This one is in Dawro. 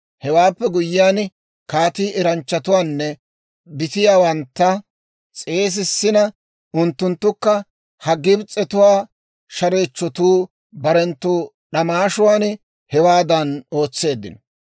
Hewaappe guyyiyaan kaatii eranchchatuwaanne bitiyaawantta s'eesissina unttunttukka, ha Gibs'etuwaa shareechchotuu barenttu d'amaashuwaan hewaadan ootseeddino.